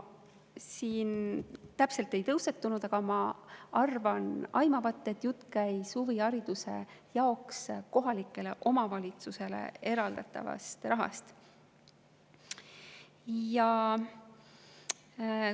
Siin see täpselt ei tõusetunud, aga ma arvan aimavat, et jutt käis huvihariduse jaoks kohalikele omavalitsustele eraldatavast rahast.